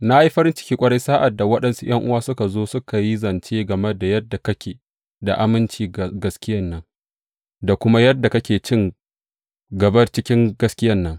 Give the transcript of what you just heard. Na yi farin ciki ƙwarai sa’ad da waɗansu ’yan’uwa suka zo suka yi zance game da yadda kake da aminci ga gaskiyan nan da kuma yadda kake cin gaba cikin gaskiyan nan.